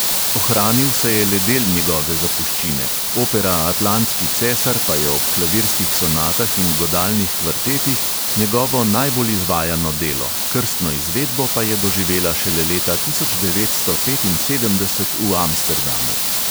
Ohranil se je le del njegove zapuščine, opera atlantski cesar pa je ob klavirskih sonatah in godalnih kvartetih njegovo najbolj izvajano delo, krstno izvedbo pa je doživela šele leta tisoč devetsto petinsedemdeset v amsterdamu.